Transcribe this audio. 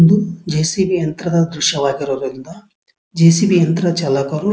ಇದು ಜೆ.ಸಿ.ಬಿ ಯಂತ್ರದ ದ್ರಶ್ಯವಾಗಿರುವುದರಿಂದ ಜೆ.ಸಿ.ಬಿ ಯಂತ್ರ ಚಾಲಕರು --